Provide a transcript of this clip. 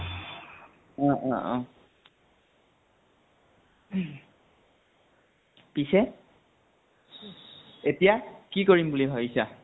ঊ অ অ উহ পিছে এতিয়া কি কৰিম বুলি ভাবিছা?